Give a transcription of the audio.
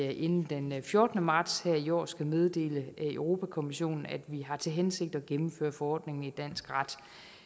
vi inden den fjortende marts her i år skal meddele europa kommissionen at vi har til hensigt at gennemføre forordningen i dansk ret